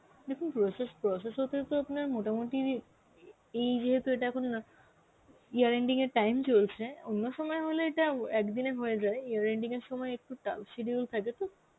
দেখুন process, process হতে তো আপনার মোটামুটি এই ইয়েতে এটা এখন year-ending এর time চলছে, অন্য সময় হলে এটা ও একদিনে হয়ে যায় year-ending এর সময় একটু tough schedule থাকে তো